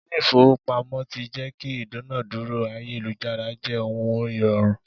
Ilé ifowopamo tí jẹ́ kí ìdúnadúrà ayélujára jẹ́ ohun ìrọ̀rùn.